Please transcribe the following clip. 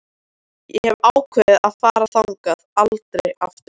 Ég hef ákveðið að fara þangað aldrei aftur.